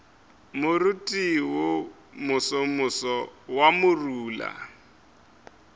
moriting wo mosomoso wa morula